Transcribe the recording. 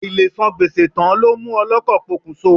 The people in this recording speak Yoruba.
Àìlesan gbèsè tán ló mú ọlọ́kọ̀ pokùnso.